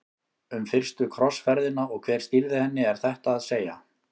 Um fyrstu krossferðina og hver stýrði henni er þetta að segja.